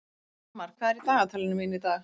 Almar, hvað er í dagatalinu mínu í dag?